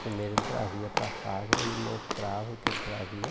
Primeiro ele trazia para casa e mostrava o que ele trazia.